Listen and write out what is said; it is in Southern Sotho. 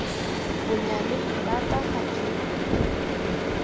bonyaneng ba ka ha ke